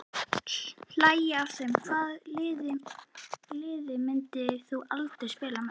Hlægja af þeim Hvaða liði myndir þú aldrei spila með?